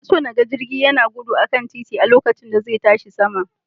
Ina so na ga jirgi yana gudu a kan titi lokacin da zai tashi sama.